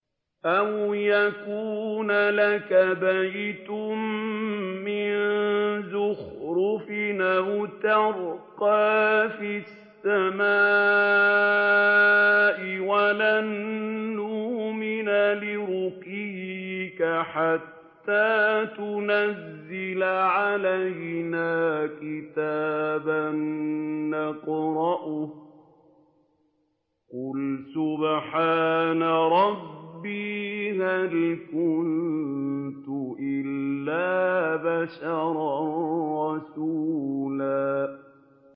أَوْ يَكُونَ لَكَ بَيْتٌ مِّن زُخْرُفٍ أَوْ تَرْقَىٰ فِي السَّمَاءِ وَلَن نُّؤْمِنَ لِرُقِيِّكَ حَتَّىٰ تُنَزِّلَ عَلَيْنَا كِتَابًا نَّقْرَؤُهُ ۗ قُلْ سُبْحَانَ رَبِّي هَلْ كُنتُ إِلَّا بَشَرًا رَّسُولًا